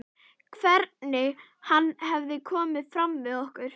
Hvernig hann hefur komið fram við okkur.